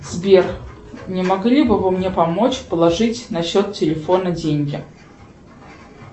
сбер не могли бы вы мне помочь положить на счет телефона деньги